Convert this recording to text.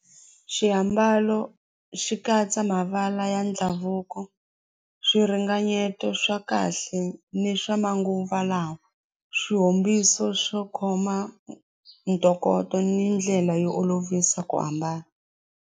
Xiambalo xi katsa mavala ya ndhavuko swiringanyeto swa kahle ni swa manguva lawa swihombiso swo khoma ntokoto ni ndlela yo olovisa ku hambana.